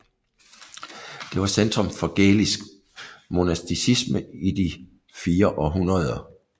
Det var centrum for gælisk monasticisme i fire århundrede